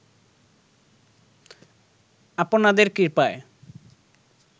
আপনাদের কৃপায়